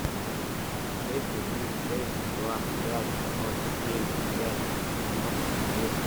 шесть один шесть два пять ноль семь пять девяносто восемь